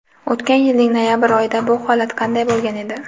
O‘tgan yilning noyabr oyida bu holat qanday bo‘lgan edi?.